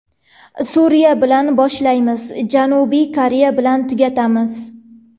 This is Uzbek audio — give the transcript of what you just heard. Suriya bilan boshlaymiz, Janubiy Koreya bilan tugatamiz.